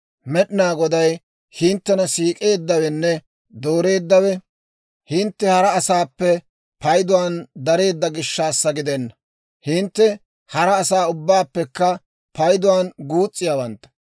«Med'inaa Goday hinttena siik'eeddawenne dooreeddawe hintte hara asaappe payduwaan dareedda gishshassa gidenna. Hintte hara asaa ubbaappekka payduwaan guus's'iyaawantta.